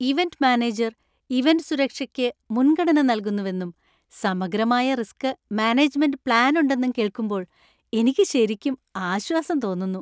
Event manager event സുരക്ഷയ്ക്ക് മുൻഗണന നൽകുന്നുവെന്നും സമഗ്രമായ റിസ്ക് മാനേജ്മെന്റ് പ്ലാൻ ഉണ്ടെന്നും കേൾക്കുമ്പോൾ എനിക്ക് ശരിക്കും ആശ്വാസം തോന്നുന്നു.